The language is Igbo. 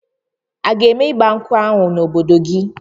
A ga-eme ịgba nkwụ ahụ n'obodo gị?